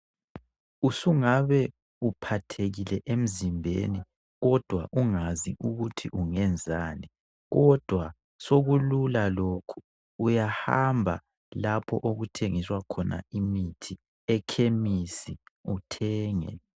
Usungabe uphathekile emzimbeni kodwa ungazi ukuthi ungenzani kodwa sokulula lokhu, uyahamba lapho okuthengiswa khona imithi, ekhemisi uthenge.